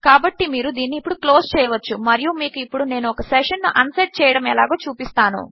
కాబట్టి మీరు దీనిని ఇప్పుడు క్లోజ్ చేయవచ్చు మరియు మీకు ఇప్పుడు నేను ఒక సెషన్ ను అన్సెట్ చేయడము ఎలాగో చూపిస్తాను